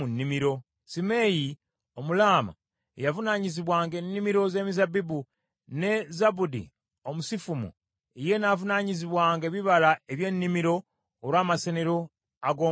Simeeyi Omulaama ye yavunaanyizibwanga ennimiro z’emizabbibu, ne Zabudi Omusifumu ye n’avunaanyizibwanga ebibala eby’ennimiro olw’amasenero ag’omwenge.